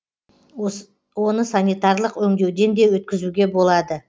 оны санитарлық өңдеуден де өткізуге болады